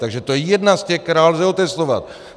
Takže to je jedna z těch, kterou lze otestovat.